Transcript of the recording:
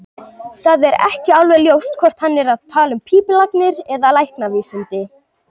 Það er ekki alveg ljóst hvort hann er að tala um pípulagnir eða læknavísindi.